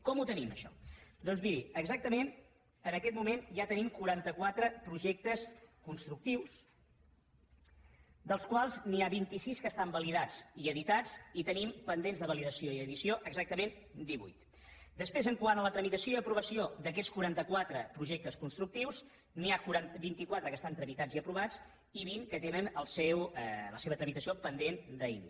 com ho tenim això doncs miri exactament en aquest moment ja tenim quaranta quatre projectes constructius dels quals n’hi ha vint sis que estan validats i editats i en tenim pendents de validació i edició exactament divuit després quant a la tramitació i aprovació d’aquests quaranta quatre projectes constructius n’hi ha vint quatre que estan tramitats i aprovats i vint que tenen la seva tramitació pendent d’inici